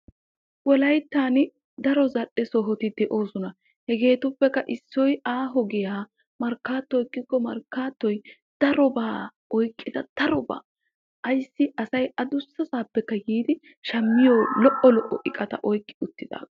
Wollayttan daro zal"e sohoti de'oosona. hegeetuppekka issoy aaho giyaa markkatto ekkiko markaattoy darobaa oyqqida darobaa ayssi asay adussasapekka yiidi shammiyoo lo"obata oyqqi uttidaage.